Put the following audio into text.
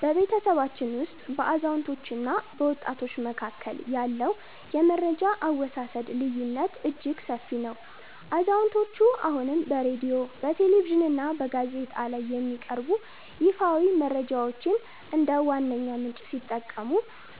በቤተሰባችን ውስጥ በአዛውንቶችና በወጣቶች መካከል ያለው የመረጃ አወሳሰድ ልዩነት እጅግ ሰፊ ነው። አዛውንቶቹ አሁንም በሬድዮ፣ በቴሌቪዥንና በጋዜጣ ላይ የሚቀርቡ ይፋዊ መረጃዎችን እንደ ዋነኛ ምንጭ ሲጠቀሙ፣